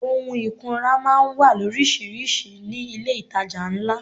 Ohun ìkunra máa ń wà loríṣiríṣi ní ilé itàjà ńlá.